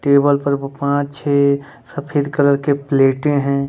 Table पर पाँच छे सफेद कलर के प्लेटे हैं।